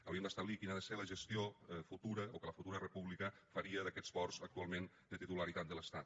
hauríem d’establir quina ha de ser la gestió futura o que la futura república faria d’aquests ports actualment de titularitat de l’estat